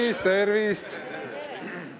Tervist-tervist!